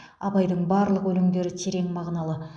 абайдың барлық өлеңдері терең мағыналы